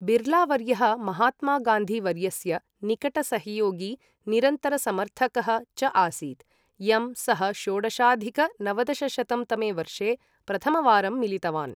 बिर्लावर्यः, महात्मा गान्धीवर्यस्य निकटसहयोगी, निरन्तरसमर्थकः च आसीत्, यं सः षोडशाधिक नवदशशतं तमे वर्षे प्रथमवारं मिलितवान्।